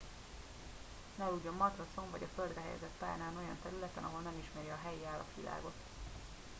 ne aludjon matracon vagy a földre helyezett párnán olyan területen ahol nem ismeri a helyi állatvilágot